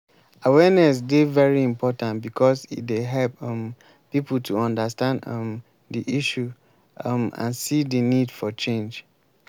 awareness dey very important because e dey help um people to understand um di issue um and see di need for change.